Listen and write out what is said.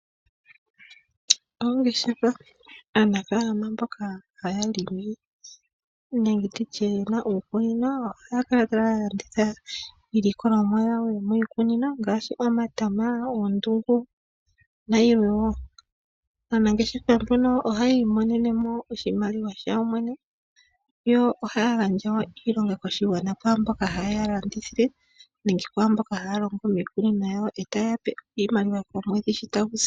Ongeshefa Anafaalama mboka haya limi nenge ye na uukunino ohaya kala taya landitha iilikolomwa yawo yomiikunino ngaashi omatama, oondungu nayilwe wo. Aanangeshefa mbaka ohaya imonene mo iiyemo yawo kuyo yene yo ohaya gandja wo iilonga koshigwana kwaa mboka haye ya landithile nenge kwaa mboka haya longo miikunino yo taye ya pe iimaliwa yawo komwedhi shi tagu si.